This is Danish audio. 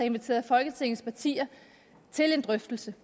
inviteret folketingets partier til en drøftelse